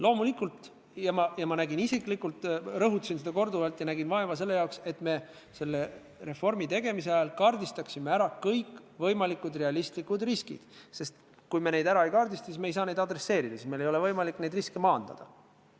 Loomulikult nägin ma isiklikult vaeva selle jaoks ja rõhutasin seda korduvalt, et me selle reformi tegemise ajal kaardistaksime ära kõikvõimalikud realistlikud riskid, sest kui me neid ei kaardista, siis ei saa me neid adresseerida, meil ei ole võimalik neid riske maandada.